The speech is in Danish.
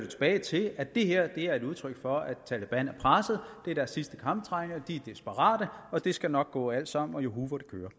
tilbage til at det her er et udtryk for at taleban er presset det er deres sidste krampetrækninger de er desperate og det skal nok gå alt sammen og juhu hvor det kører